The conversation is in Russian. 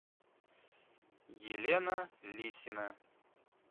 елена лисина